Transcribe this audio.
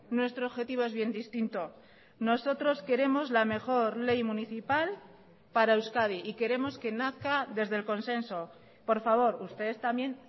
nuestro objetivo es bien distinto nosotros queremos la mejor ley municipal para euskadi y queremos que nazca desde el consenso por favor ustedes también